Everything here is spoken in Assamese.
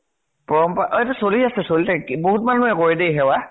পৰম্পৰা অ এইটো চলি আছে, চলি থাক বহুত মানুহে কৰে দে সেৱা।